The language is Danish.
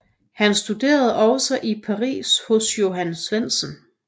Han studerede også i Paris hos Johan Svendsen